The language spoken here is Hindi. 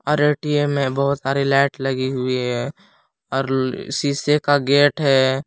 और ए_टी_एम में बहुत सारी लाइट लगी हुई है और ल शीशे का गेट है।